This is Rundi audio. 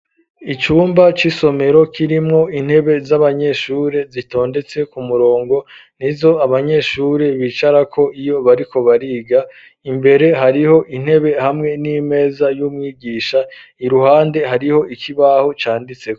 Icumba, c'isomero ,kirimwo intebe z'abanyeshuri zitondetse ku murongo ,nizo abanyeshuri bicarako, iyo bariko bariga, imbere hariho intebe hamwe n'imeza y'umwigisha ,iruhande hariho ikibaho canditseho.